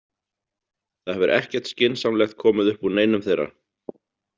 Það hefur ekkert skynsamlegt komið upp úr neinum þeirra.